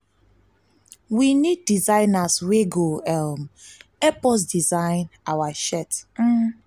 we need designers wey go um help us design our shirt um